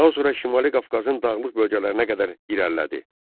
Daha sonra Şimali Qafqazın dağlıq bölgələrinə qədər irəlilədi.